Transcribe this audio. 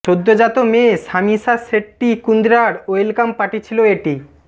সদ্যোজাত মেয়ে সামিশা শেট্টি কুন্দ্রার ওয়েলকাম পার্টি ছিল এটি